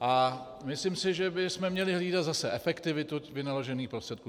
A myslím si, že bychom měli hlídat zase efektivitu vynaložených prostředků.